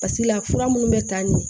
Basi la fura munnu bɛ ta nin